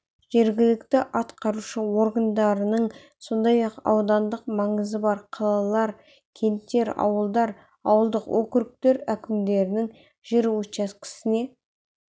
жергілікті атқарушы органдарының сондай-ақ аудандық маңызы бар қалалар кенттер ауылдар ауылдық округтер әкімдерінің жер учаскесіне